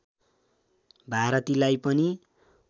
भारतीलाई पनि